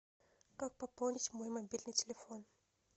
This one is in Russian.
как пополнить мой мобильный телефон